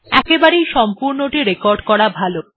একবারেই সম্পূর্ণটি রেকর্ড করা ভালো